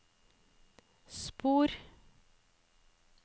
spor